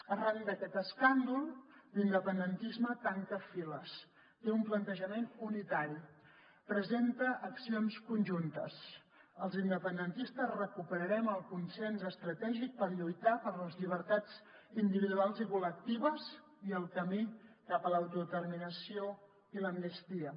arran d’aquest escàndol l’independentisme tanca files té un plantejament unitari presenta accions conjuntes els independentistes recuperarem el consens estratègic per lluitar per les llibertats individuals i col·lectives i el camí cap a l’autodeterminació i l’amnistia